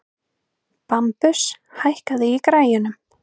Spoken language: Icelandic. Bambus, hækkaðu í græjunum.